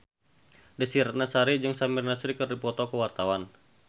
Desy Ratnasari jeung Samir Nasri keur dipoto ku wartawan